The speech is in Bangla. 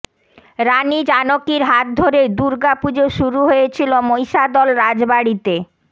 রানি জানকীর হাত ধরে দুর্গা পুজো শুরু হয়েছিল মহিষাদল রাজবাড়িতে